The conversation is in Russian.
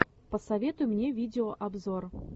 посоветуй мне видеообзор